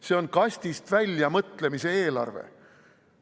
See on kastist väljapoole mõtlemise eelarve.